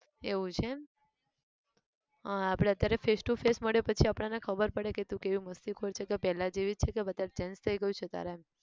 એવું છે આહ આપણે અત્યારે face to face મળીએ પછી આપણને ખબર પડે કે તું કેવી મસ્તીખોર છે ક પહેલા જેવી જ છે કે વધાર change થઈ ગયું છે તારા માં